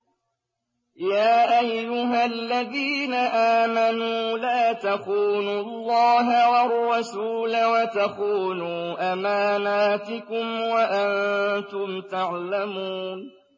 يَا أَيُّهَا الَّذِينَ آمَنُوا لَا تَخُونُوا اللَّهَ وَالرَّسُولَ وَتَخُونُوا أَمَانَاتِكُمْ وَأَنتُمْ تَعْلَمُونَ